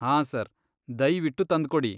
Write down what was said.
ಹಾಂ ಸರ್, ದಯ್ವಿಟ್ಟು ತಂದ್ಕೊಡಿ.